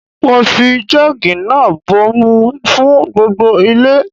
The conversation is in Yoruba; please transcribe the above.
Mo fi joogi náà bomi fún gbogbo ilé.